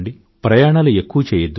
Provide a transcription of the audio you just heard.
ప్రయాణాలు ఎక్కువ చేయద్దు